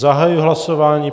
Zahajuji hlasování.